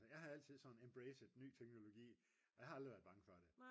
jeg har altid sådan "embracet" ny teknologi og jeg har aldrig været bange for det